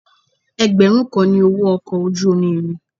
Ẹgbẹ̀rún kan ni owó ọkọ̀ ojú omi mi.